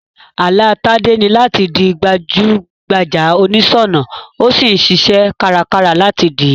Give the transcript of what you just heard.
Àlá Tádé ni làti di gbajú gbajà onìsònà, o sí n siṣẹ́ kárakára láti dìí